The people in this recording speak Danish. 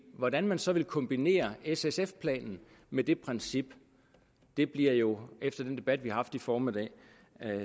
hvordan man så vil kombinere s sf planen med det princip bliver jo efter den debat vi har haft i formiddag